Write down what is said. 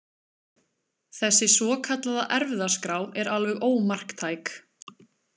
Þessi svokallaða erfðaskrá er alveg ómarktæk.